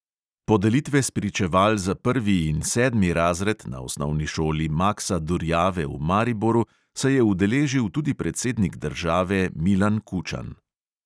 Podelitve spričeval za prvi in sedmi razred na osnovni šoli maksa durjave v mariboru se je udeležil tudi predsednik države milan kučan.